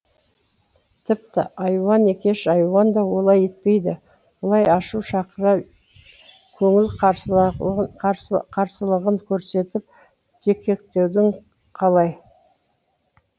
тіпті айуан екеш айуан да олай етпейді бұлай ашу шақыра көңіл қарсылығын көрсетіп дікектеуің қалай